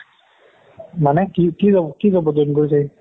মানে কি কি job কি job ত join কৰিছে সি